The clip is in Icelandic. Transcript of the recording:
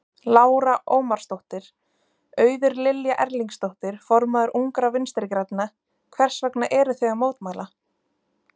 Lára Ómarsdóttir: Auður Lilja Erlingsdóttir, formaður Ungra Vinstri-grænna, hvers vegna eruð þið að mótmæla?